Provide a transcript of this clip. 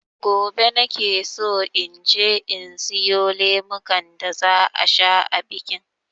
Gobe nakeso inje in siyo lemukan da za a sha a bikin.